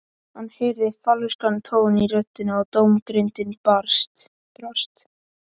Hann heyrði falskan tón í röddinni og dómgreindin brast.